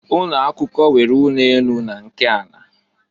Ụnọ akwụkwọ nwere ụnọ enu na nke ala.